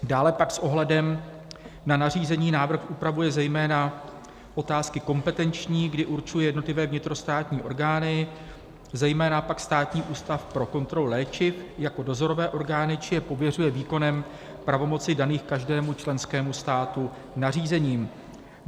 Dále pak s ohledem na nařízení návrh upravuje zejména otázky kompetenční, kdy určuje jednotlivé vnitrostátní orgány, zejména pak Státní ústav pro kontrolu léčiv, jako dozorové orgány či je pověřuje výkonem pravomocí daných každému členskému státu nařízením.